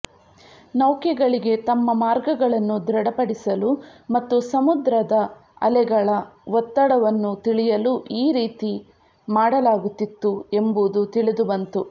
ನೌಕೆಗಳಿಗೆ ತಮ್ಮ ಮಾರ್ಗಗಳನ್ನು ದೃಢಪಡಿಸಲು ಮತ್ತು ಸಮದ್ರದ ಅಲೆಗಳ ಒತ್ತಡವನ್ನು ತಿಳಿಯಲು ಈ ರೀತಿ ಮಾಡಲಾಗುತಿತ್ತು ಎಂಬುದು ತಿಳಿದುಬಂತು